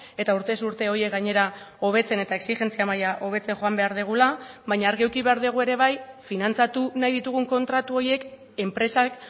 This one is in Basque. eta urtez urte horiek gainera hobetzen eta exijentzia maila hobetzen joan behar dugula baina argi eduki behar dugu ere bai finantzatu nahi ditugun kontratu horiek enpresak